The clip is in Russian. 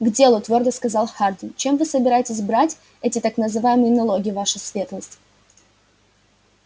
к делу твёрдо сказал хардин чем вы собираетесь брать эти так называемые налоги ваша светлость